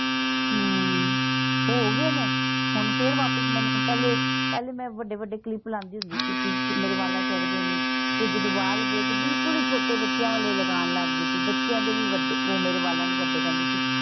ਅਮ ਹੋ ਗਏ ਨੇ। ਹੁਣ ਫੇਰ ਵਾਪਿਸ ਮੈਨੂੰ ਪਹਿਲੇ ਪਹਿਲੇ ਮੈਂ ਵੱਡੇ ਵੱਡੇ ਕਲਿੱਪ ਲਗਾਂਦੀ ਹੁੰਦੀ ਸੀਗੀ। ਮੇਰੇ ਵਾਲਾਂ ਚ ਅੜਦੇ ਨੀ। ਫੇਰ ਜਦੋਂ ਵਾਲ ਗਏ ਤੇ ਬਿਲਕੁਲ ਹੀ ਛੋਟੇ ਬੱਚਿਆਂ ਵਾਲੇ ਲਗਾਉਣ ਲੱਗ ਗਈ ਸੀ। ਬੱਚਿਆਂ ਦੇ ਵੀ ਵੱਡੇ ਉਹ ਮੇਰੇ ਵਾਲਾਂ ਨੂੰ ਵੱਡੇ ਪੈਂਦੇ ਸੀ।